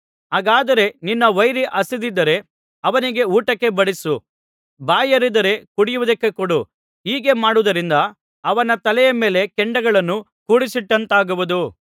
ಹಾಗಾದರೆ ನಿನ್ನ ವೈರಿ ಹಸಿದಿದ್ದರೆ ಅವನಿಗೆ ಊಟಕ್ಕೆ ಬಡಿಸು ಬಾಯಾರಿದ್ದರೆ ಕುಡಿಯುವುದಕ್ಕೆ ಕೊಡು ಹೀಗೆ ಮಾಡುವುದರಿಂದ ಅವನ ತಲೆಯ ಮೇಲೆ ಕೆಂಡಗಳನ್ನು ಕೂಡಿಸಿಟ್ಟಂತಾಗುವುದು